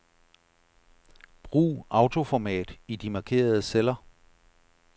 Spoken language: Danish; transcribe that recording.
Brug autoformat i de markerede celler.